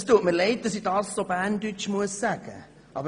Es tut mir leid, dass ich dies so sagen muss.